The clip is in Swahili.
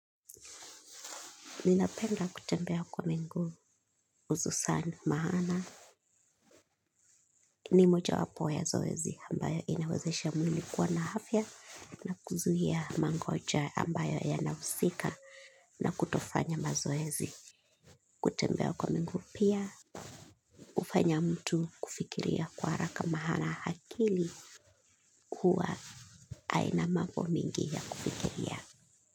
Ninapenda kutembea kwa miguu, ususani maana. Ni moja wapo ya zoezi ambayo inawezesha mwili kuwa na afya na kuzuia magonjwa ambayo yanahusika na kutofanya mazoezi. Kutembea kwa miguu pia hufanya mtu kufikiria kwa haraka maana akili huwa haina mambo mingi ya kufikiria.